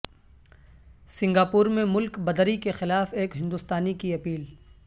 Singapore میں ملک بدری کے خلاف ایک ہندوستانی کی اپیل